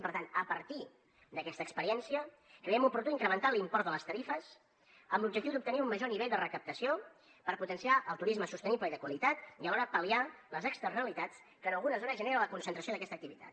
i per tant a partir d’aquesta experiència creiem oportú incrementar l’import de les tarifes amb l’objectiu d’obtenir un major nivell de recaptació per potenciar el turisme sostenible i de qualitat i alhora pal·liar les externalitats que en algunes zones genera la concentració d’aquesta activitat